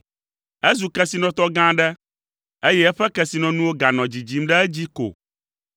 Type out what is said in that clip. Ezu kesinɔtɔ gã aɖe, eye eƒe kesinɔnuwo ganɔ dzidzim ɖe edzi ko.